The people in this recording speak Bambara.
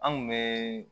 An kun bɛ